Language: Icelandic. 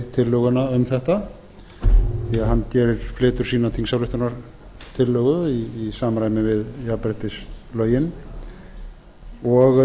tillöguna um þetta því hann flytur sína þingsályktunartillögu í samræmi við jafnréttislögin og